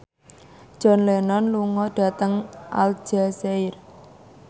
John Lennon lunga dhateng Aljazair